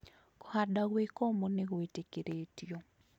Kũhanda gwĩkũmũ nĩ gwĩtĩkĩrĩtio